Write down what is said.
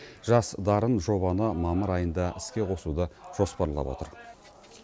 жас дарын жобаны мамыр айында іске қосуды жоспарлап отыр